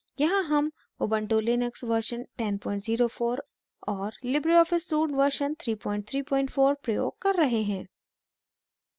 यहाँ हम ubuntu Linux version 1004 और लिबरे ऑफिस suite version 334 प्रयोग कर रहे हैं